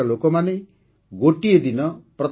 ଏଠାକାର ଲୋକମାନେ ଏହି ପାର୍କରେ ଏକ ନୂତନ ପରମ୍ପରା ଆରମ୍ଭ କରିଛନ୍ତି